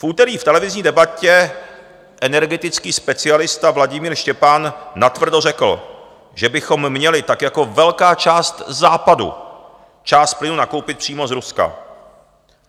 V úterý v televizní debatě energetický specialista Vladimír Štěpán natvrdo řekl, že bychom měli, tak jako velká část Západu, část plynu nakoupit přímo z Ruska.